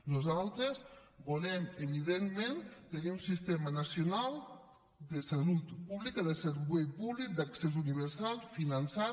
nosaltres volem evidentment tenir un sistema nacional de salut pública de servei públic d’accés universal finançat